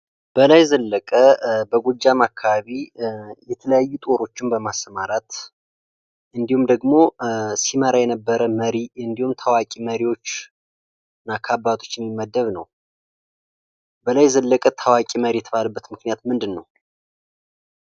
በላይ ዘለቀም አካባቢ የተለያዩ ጦሮችን በማሰማራት እንዲሁም ደግሞ ሲመራ የነበረ ታዋቂ መሪዎችና ከአባቶች የሚመደም ነው በላይ ዘለቀ ታዋቂ ነው የተባለበት ምክንያት ምንድነው?